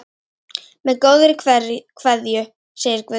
Með góðri kveðju, segir Guðni.